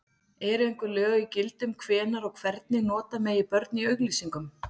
Eru einhver lög í gildi um hvenær og hvernig nota megi börn í auglýsingum?